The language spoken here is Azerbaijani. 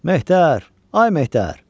Mehdər, ay Mehdər!